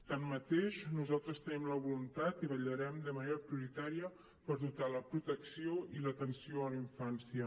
tanmateix nosaltres en tenim la voluntat i vetllarem de manera prioritària per dotar la protecció i l’atenció a la infància